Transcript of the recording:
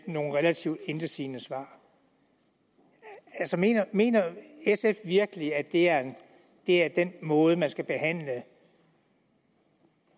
nogle relativt intetsigende svar mener mener sf virkelig at det er er den måde man skal behandle